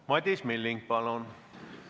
Madis Milling, palun!